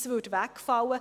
Dies würde wegfallen.